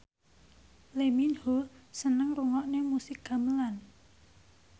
Lee Min Ho seneng ngrungokne musik gamelan